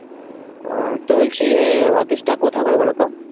আহ তো বলছি আহ office টা কোথায় করে বলোতো